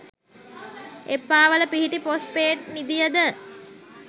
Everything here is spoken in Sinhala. එප්පාවල පිහිටි පොස්පේට් නිධියද